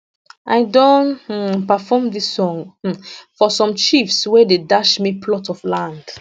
i don um perform dis song um for some chiefs wey dey dash me plot of land